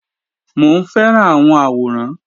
Mò ń fẹ́ràn àwọn àwòrán